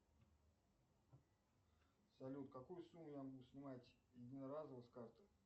салют какую сумму я могу снимать единоразово с карты